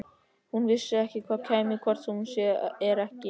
Hún vissi að hann kæmi hvort sem er ekki.